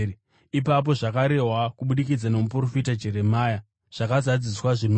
Ipapo zvakarehwa kubudikidza nomuprofita Jeremia zvakazadziswa, zvinoti: